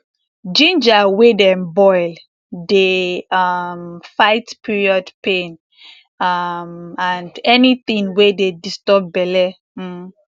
ginger wey dem boil dey um fight period pain um and anything wey dey disturb belle um